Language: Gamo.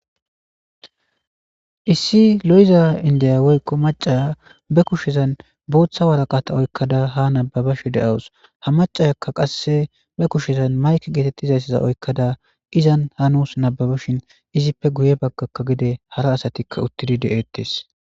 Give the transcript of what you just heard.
issi lo7iza indiyaweykko macaa be kushezan booththa waraqata oykkada ha nababashi de7awus ha macayakka qasse be kushezan mayki geetettizayssiza oykkada izan hanus nababashin izippe guye baggakka gide hara asatikka uttidi de7ettes